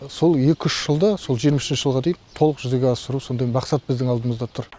сол екі үш жылда сол жиырма үшінші жылға дейін толық жүзеге асыру сондай мақсат біздің алдымызда тұр